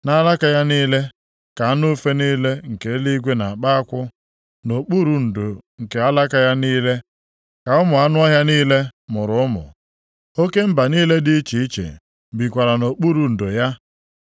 Nʼalaka ya niile ka anụ ufe niile nke eluigwe na-akpa akwụ, nʼokpuru ndo nke alaka ya niile ka ụmụ anụ ọhịa niile mụrụ ụmụ, oke mba niile dị iche iche bikwara nʼokpuru ndo ya.